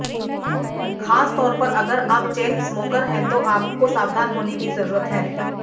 खासतौर पर अगर आप चेन स्मोकर हैं तो आपको सावधान होने की जरूरत है